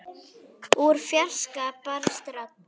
Úr fjarska barst rödd.